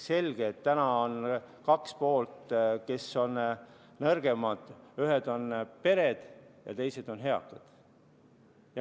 Selge, et täna on kaks poolt, kes on nõrgemad: ühed on pered ja teised on eakad.